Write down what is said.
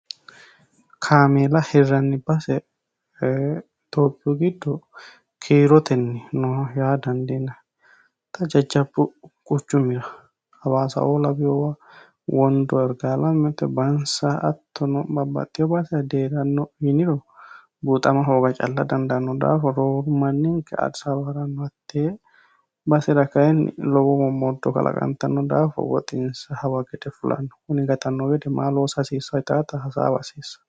kaameela hirranni base tophiyu giddo kiirotenni no yaa dandiina ta jajjabu quchumira hawaasaoo labiyowa wondo ergaalamete bansa hattono baasera deeranno yiiniro buuxama hooga calla dandaanno daafa rooru manninke adisawaa haranno hattee basera kayinni lowo momoddo kalaqantanno daafo woxinsa hawa gede fulanno kuni gatanno wede maa loosa hasiissanno yitaata hasaawa haasiissanno.